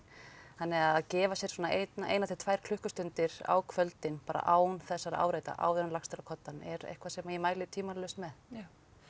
þannig að gefa sér svona eina eina til tvær klukkustundir á kvöldin bara án þessara áreita áður en lagst er á koddann er eitthvað sem ég mæli tvímælalaust með já